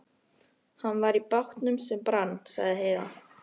Hann var í bátnum sem brann, sagði Heiða.